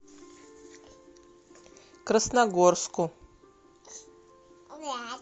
красногорску